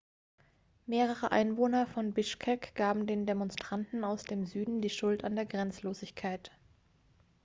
mehrere einwohner von bishkek gaben den demonstranten aus dem süden die schuld an der gesetzlosigkeit